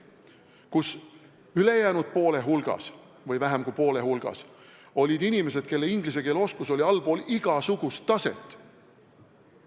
Samas ülejäänud poole hulgas või vähem kui poole hulgas olid inimesed, kelle inglise keele oskus oli allpool igasugust taset.